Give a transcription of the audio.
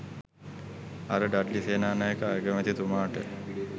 අර ඩඩ්ලි සේනානායක අගමැතිතුමාට